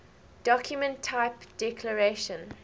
document type declaration